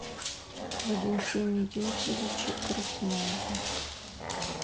валентине юрьевиче крупнове